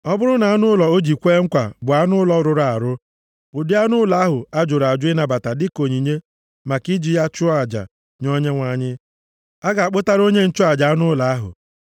Ọ bụrụ na anụ ụlọ o ji kwee nkwa bụ anụ ụlọ rụrụ arụ, + 27:11 Anụ ụlọ rụrụ arụ Ndị a bụ anụ ndị ahụ a jụrụ ịnabata maka i ji chụọ aja, ha bụ ịnyịnya, ịnyịnya kamel na ịnyịnya ibu. ụdị anụ ụlọ ahụ a jụrụ ịnabata dịka onyinye maka iji ya chụọ aja nye Onyenwe anyị, a ga-akpụtara onye nchụaja anụ ụlọ ahụ.